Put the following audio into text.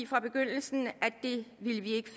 fra begyndelsen vi ikke